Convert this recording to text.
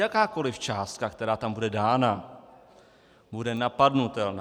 Jakákoliv částka, která tam bude dána, bude napadnutelná.